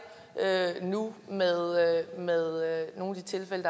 nu med med nogle af de tilfælde